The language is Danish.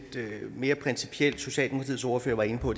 mere principielt socialdemokratiets ordfører var inde på